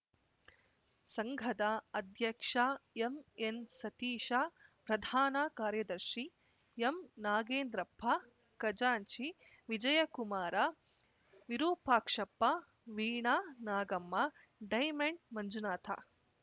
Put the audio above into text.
ಸಂಘದ ಅಧ್ಯಕ್ಷ ಎಂಎನ್‌ ಸತೀಶ ಪ್ರಧಾನ ಕಾರ್ಯದರ್ಶಿ ಎಂನಾಗೇಂದ್ರಪ್ಪ ಖಜಾಂಚಿ ವಿಜಯಕುಮಾರ ವಿರುಪಾಕ್ಷಪ್ಪ ವೀಣಾ ನಾಗಮ್ಮ ಡೈಮಂಡ್‌ ಮಂಜುನಾಥ